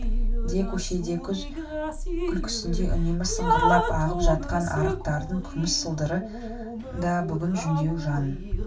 де көшеде қыз күлкісіндей үнемі сыңғырлап ағып жатқан арықтардың күміс сылдыры да бүгін жүдеу жанын